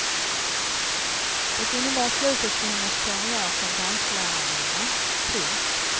Det innebar slutet för hennes karriär som danslärarinna. punkt